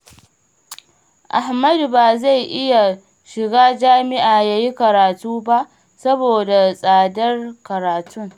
Ahmadu ba zai iya shiga jami'a ya yi karatu ba, saboda tsadar karatun